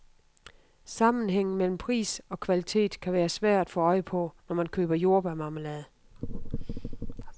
Sammenhængen mellem pris og kvalitet kan være svær at få øje på, når man køber jordbærmarmelade.